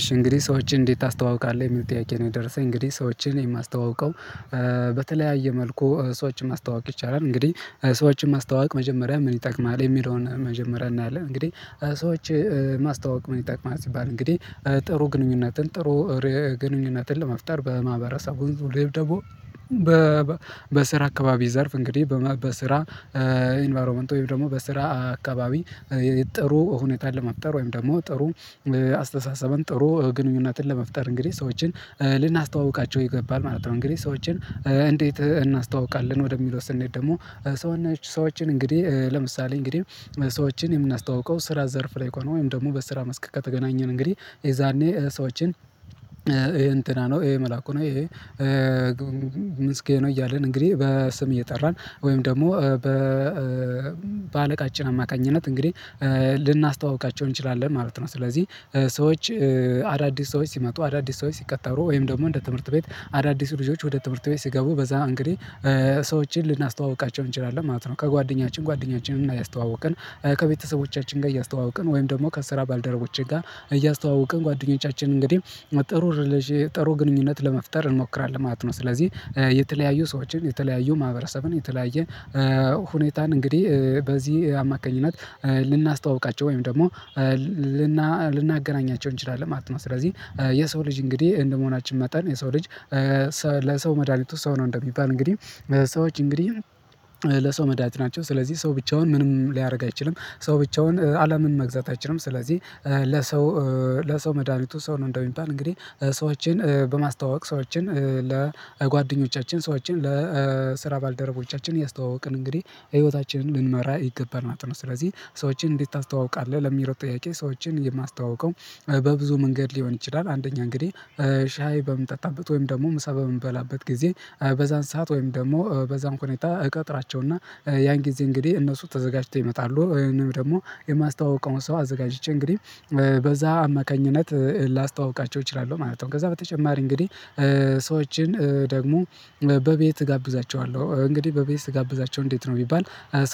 እሺ እንግዲህ ሰዎችን እንዴት ታስተዋውቃለህ የሚል ጥያቄ ነው። የደረሰኝ እንግዲህ ሰዎችን የማስተዋውቀው። በተለያየ መልኩ ሰዎችን ማስተዋወቅ ይቻላል። እንግዲህ ሰወችን ማስተዋወቅ መጀመሪያ ምን ይጠቅማል የሚለውን መጀመሪያ እናያለን። እንግዲህ ሰዎች ማስታወቅ ምን ይጥዕቅማል? ሲባል እንግዲህ ጥሩ ግንኙነትን ጥሩ ግንኙነትን ለመፍጠር በማህበረሰቡ ወይም ደግሞ በስራ አካባቢ ዘርፍ እንግዲህ በስራ ኢንቫይሮመንት ወይም ደግሞ በስራ አካባቢ ጥሩ ሁኔታ ለመፍጠር ወይም ደግሞ ጥሩ አስተሳሰብን ጥሩ ግንኙነትን ለመፍጠር እንግዲህ ሰዎችን ልናስተዋውቃቸው ይገባል ማለት ነው። እንግዲህ ሰዎችን እንዴት እናስተዋውቃለን? ወደሚለው ስንሄድ ደግሞ ሰው ነች ሰዎችን እንግዲህ ለምሳሌ እንግዲህ ሰዎችን የምናስተዋውቀው ስራ ዘርፍ ላይ እኮ ነው። ወይም ደግሞ በስራ መስክ ተገናኘን እንግዲህ የዛኔ ሰዎችን ይሄ እንትና ነው ይሄ መላኩ ነው ይሄ ምስጌ ነው። እያልን እንግዲህ በስም እየጠራን ወይም ደግሞ በአለቃችን አማካኝነት እንግዲህ ልናስተዋውቃቸው እንችላለን ማለት ነው። ስለዚህ ሰዎች አዳዲስ ሰዎች ሲመጡ አዳዲስ ሰዎች ሲቀጣሩ ወይም ደግሞ እንደ ትምህርት ቤት አዳዲስ ልጆች ወደ ትምህርት ቤት ሲገቡ በዛ እንግዲህ ሰዎችን ልናስተዋውቃቸው እንችላለን ማለት ነው። ከጓደኛችን ጓደኛችንን እና እያስተዋወቅን ከቤተሰቦቻችን ጋር እያስተዋወቅን ወይም ደግሞ ከስራ ባልደረቦቼ ጋር እያስተዋውቅን ጓደኞቻችን እንግዲህ ጥሩ ግንኙነት ለመፍጠር እንሞክራለን ማለት ነው። ስለዚህ የተለያዩ ሰዎችን የተለያዩ ማህበረሰብን የተለያየ ሁኔታን እንግዲህ በዚህ አማካኝነት ልናስታውቃቸው ወይም ደግሞ ልናገናኛቸው እንችላለን ማለት ነው። ስለዚህ የሰው ልጅ እንግዲህ እንደመሆናችን መጠን የሰው ልጅ ለሰው መድሃኒቱ ሰው ነው። እንደሚባል እንግዲህ ሰዎች እንግዲህ ለሰው መዳኒት ናቸው ስለዚህ ሰው ብቻውን ምንም ሊያደርግ አይችልም። ሰው ብቻውን አለምን መግዛት አይችልም። ስለዚህ ለሰው መድሃኒቱ ሰው ነው። እንደሚባል እንግዲህ ሰዎችን በማስታወቅ ሰዎችን ለጓደኞቻችን ሰዎችን ለስራ ባልደረቦቻችን ያስተዋውቅን እንግዲህ ህይወታችንን ልንመራ ይገባል ማለት ነው። ስለዚህ ሰዎችን እንዴት ታስተዋውቃለህ? ለሚለው ጥያቄ ሰዎችን የማስተዋውቀው በብዙ መንገድ ሊሆን ይችላል። አንደኛ እንግዲህ ሻይ በምጠጣበት ወይም ደግሞ ምሳ በምንበላበት ጊዜ በዛን ሰዓት ወይም ደግሞ በዛን ሁኔታ እቀጥራቸውና ያን ጊዜ እንግዲህ እነሱ ተዘጋጅቶ ይመጣሉ ወይም ደግሞ የማስታውቀውን ሰው አዘጋጅቼ እንግዲህ በዛ አማካኝነት ላስተዋውቃቸው እችላለሁ ማለት ነው። ከዛ በተጨማሪ እንግዲህ ሰዎችን ደግሞ በቤት እጋብዛቸዋለሁ እንግዲህ በቤት ስጋብዛቸው እንዴት ነው? ቢባል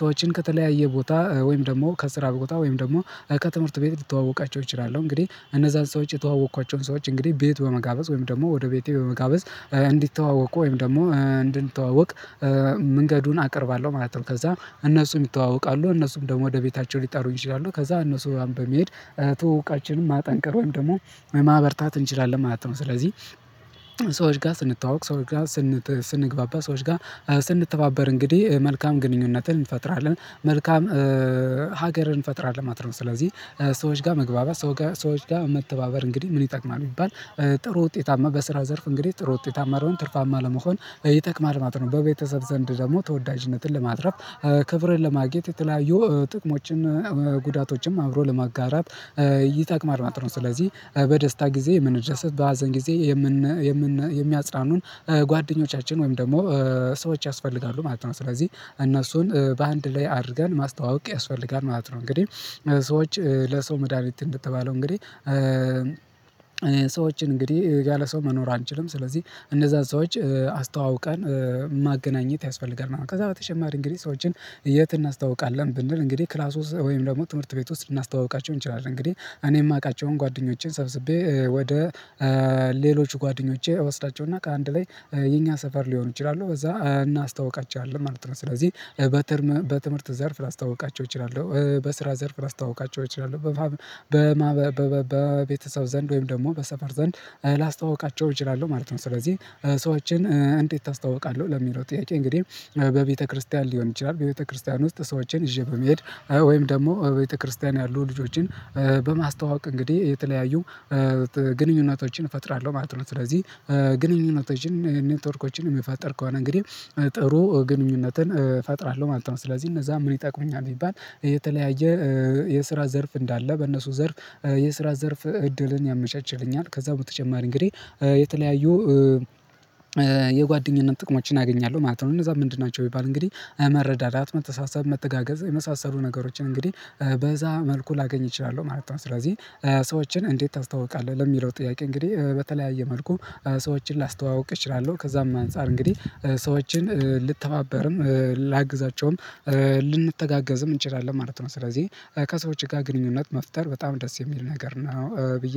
ሰዎችን ከተለያየ ቦታ ወይም ደግሞ ከስራ ቦታ ወይም ደግሞ ከትምህርት ቤት ሊተዋወቃቸው እችላለሁ። እንግዲህ እነዛን ሰዎች የተዋወቅኳቸውን ሰዎች እንግዲህ ቤት በመጋበዝ ወይም ደግሞ ወደ ቤቴ መጋበዝ እንዲተዋወቁ ወይም ደግሞ እንድንተዋወቅ መንገዱን አቀርባለሁ ማለት ነው። ከዛ እነሱም ይተዋወቃሉ እነሱም ደግሞ ወደ ቤታቸው ሊጠሩኝ ይችላሉ። ከዛ እነሱ በመሄድ ትውውቃችንን ማጠንቀር ወይም ደግሞ ማህበርታት እንችላለን ማለት ነው። ስለዚህ ሰዎች ጋር ስንተዋወቅ ሰዎች ጋር ስንግባባ ሰዎች ጋር ስንተባበር እንግዲህ መልካም ግንኙነትን እንፈጥራለን መልካም ሀገርን እንፈጥራለን ነው። ስለዚህ ሰዎች ጋር መግባባት ሰው ጋር ሰዎች ጋር መተባበር እንግዲህ ምን ይጠቅማል የሚባል? ጥሩ ውጤታማ በስራ ዘርፍ እንግዲህ ጥሩ ውጤታማ ለመሆን ትርፋማ ለመሆን ይጠቅማል ማለት ነው። በቤተሰብ ዘንድ ደግሞ ተወዳጅነትን ለማትረፍ ክብርን ለማግኘት የተለያዩ ጥቅሞችን ጉዳቶችንም አብሮ ለማጋራት ይጠቅማል ማለት ነው። ስለዚህ በደስታ ጊዜ የምንደሰት በሀዘን ጊዜ የምን የምን የሚያጽናኑን ጓደኞቻችን ወይም ደግሞ ሰዎች ያስፈልጋሉ ማለት ነው። ስለዚህ እነሱን በአንድ ላይ አድርገን ማስተዋወቅ ያስፈልጋል ማለት ነው። እንግዲህ ሰዎች ለሰው መድሃኒት እንደተባለው እንግዲህ እኔ ሰዎችን እንግዲህ ያለ ሰው መኖር አንችልም። ስለዚህ እነዛን ሰዎች አስተዋውቀን ማገናኘት ያስፈልገናል። ከዛ በተጨማሪ እንግዲህ ሰዎችን የት እናስታውቃለን? ብንል እንግዲህ ክላሱ ወይም ደግሞ ትምህርት ቤት ውስጥ ልናስተዋውቃቸው እንችላለን። እንግዲህ እኔ የማውቃቸውን ጓደኞቼን ሰብስቤ ወደ ሌሎች ጓደኞቼ እወስዳቸውና ከአንድ ላይ የኛ ሰፈር ሊሆኑ ይችላሉ በዛ እናስታውቃቸዋለን ማለት ነው። ስለዚህ በትምህርት በትምህርት ዘርፍ ላስታውቃቸው እችላለሁ። በስራ ዘርፍ ላስታውቃቸው እችህላለሁ። በቤተሰብ ዘንድ ወይም ደግሞ በሰፈር ዘንድ ላስተዋውቃቸው እችላለሁ ማለት ነው። ስለዚህ ሰዎችን እንዴት ታስታውቃለህ? ለሚለው ጥያቄ እንግዲህ በቤተክርስቲያን ሊሆን ይችላል። በቤተክርስቲያን ውስጥ ሰዎችን ይዤ በመሄድ ወይም ደግሞ ቤተክርስቲያን ያሉ ልጆችን በማስተዋወቅ እንግዲህ የተለያዩ ግንኙነቶችን እፈጥራለሁ ማለት ነው። ስለዚህ ግንኙነቶችን ኔትወርኮችን እሚፈጠር ከሆነ እንግዲህ ጥሩ ግንኙነትን እፈጥራለሁ ማለት ነው። ስለዚህ እነዛ ምን ይጠቅሙኛል ቢባል? የተለያየ የስራ ዘርፍ እንዳለ በእነሱ ዘርፍ የስራ ዘርፍ እድልን ያመቻችልኛል። ከዛ በተጨማሪ እንግዲህ የተለያዩ የጓደኝነት ጥቅሞችን አገኛለሁ ማለት ነው። እነዛ ምንድን ናቸው ቢባል? እንግዲህ መረዳዳት መተሳሰብ መተጋገዝ የመሳሰሉ ነገሮችን እንግዲህ በዛ መልኩ ላገኝ እችላለሁ ማለት ነው። ስለዚህ ሰዎችን እንዴት ታስተዋውቃለህ? ለሚለው ጥያቄ እንግዲህ በተለያየ መልኩ ሰዎችን ላስተዋውቅ እችላለሁ። ከዛም አንፃር እንግዲህ ሰዎችን ልተማበርም ላግዛቸውም ልንተጋገዝም እንችላለን ማለት ነው። ስለዚህ ከሰዎች ጋር ግንኙነት መፍጠር በጣም ደስ የሚል ነገር ነው። ብዬ